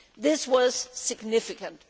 This was significant.